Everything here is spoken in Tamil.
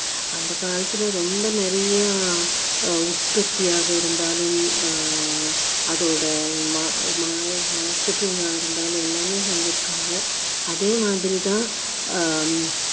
அந்த காலத்துல ரொம்ப நிறைய ஆஹ் உற்பத்தியாக இருந்தாலும் ஆஹ் அதோட மா~ மா~ marketing ஆ இருந்தாலும் எல்லாமே செஞ்சிருக்காங்க அதே மாதிரி தான்